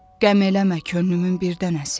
Qəm eləmə könlümün birdənəsi.